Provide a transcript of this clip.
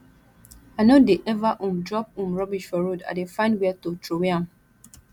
i no dey eva um drop um rubbish for road i dey find where to troway am